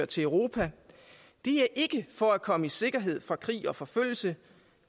til europa det er ikke for at komme i sikkerhed fra krig og forfølgelse